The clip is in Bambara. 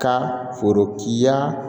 Ka foro kiya